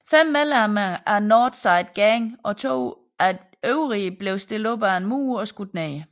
Fem medlemmer af North Side Gang og to øvrige blev stillet op ad en mur og skudt ned